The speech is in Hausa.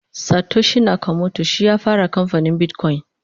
Satoshi nakamoto shi ya fara kamfanin bitcoin